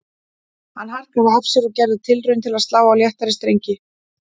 Hann harkaði af sér og gerði tilraun til að slá á léttari strengi